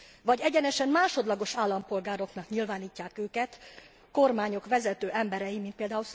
Vagy egyenesen másodlagos állampolgároknak nyilvánítják őket kormányok vezető emberei, mint pl.